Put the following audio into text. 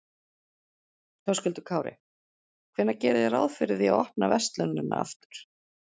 Höskuldur Kári: Hvenær gerið þið ráð fyrir því að opna verslunina aftur?